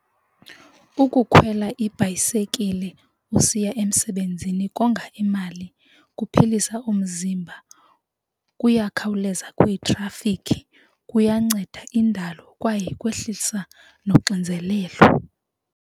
Ukukhwela ibhayisekile usiya emsebenzini konga imali, kuphilisa umzimba, kuyakhawuleza kwitrafikhi kuyanceda indalo kwaye kwehlisa nonxinzelelo.